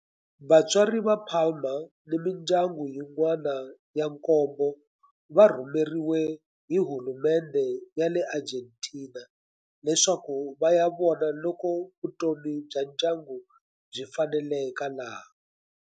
Vatswari va Palma ni mindyangu yin'wana ya nkombo va rhumeriwe hi hulumendhe ya le Argentina leswaku va ya vona loko vutomi bya ndyangu byi faneleka laha.